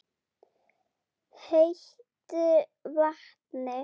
heitu vatni.